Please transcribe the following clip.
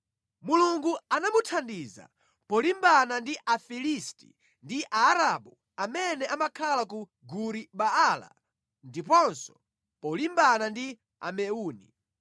Mulungu anamuthandiza polimbana ndi Afilisti ndi Aarabu amene amakhala ku Guri-Baala ndiponso polimbana ndi Ameuni.